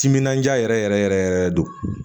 Timinandiya yɛrɛ yɛrɛ yɛrɛ yɛrɛ don